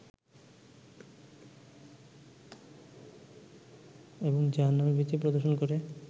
এবং জাহান্নামের ভীতি প্রদর্শন করে